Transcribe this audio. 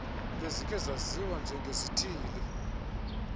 bezikhe zaziwa njengezithili